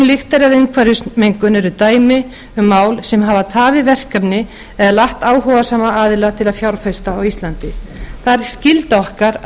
lyktir af umhverfismengun eru dæmi um mál sem hafa tafið verkefni eða latt áhugasama aðila til að fjárfesta á íslandi það er skylda okkar að